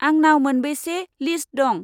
आंनाव मोनबेसे लिस्त दं?